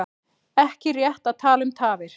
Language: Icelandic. Ekki rétt að tala um tafir